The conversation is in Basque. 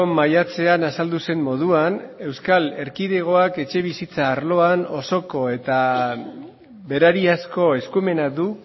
maiatzean azaldu zen moduan euskal erkidegoak etxebizitza arloan osoko eta berariazko eskumena du